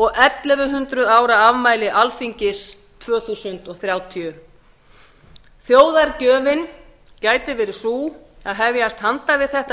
og ellefu hundruð ára afmæli alþingis tvö þúsund þrjátíu þjóðargjöfin gæti verið sú að hefjast handa við þetta